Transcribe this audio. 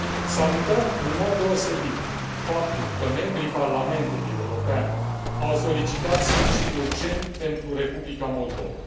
Salutăm în mod deosebit faptul că membrii Parlamentului European au solicitat sprijin urgent pentru Republica Moldova.